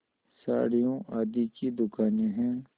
साड़ियों आदि की दुकानें हैं